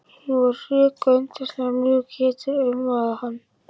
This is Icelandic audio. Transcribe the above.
Hún var rök og yndislega mjúk, hitinn umvafði hann.